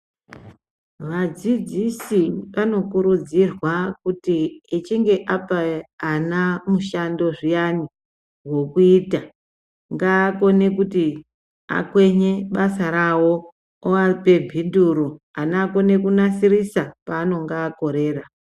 Vadzidzisi ano kurudzirwa kuti echinge apa ana mushando zviyani hwokuita ngaa kone kuti akwenye basa rawo uvape mbinduro ana akone kunasirisa paanenge akorera.